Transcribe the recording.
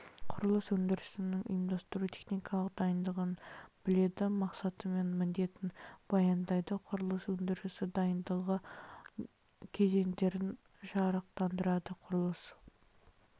құрылыс өндірісінің ұйымдастыру техникалық дайындығын біледі мақсаты мен міндетін баяндайды құрылыс өндірісі дайындығы кезеңдерін жарықтандырады құрылыс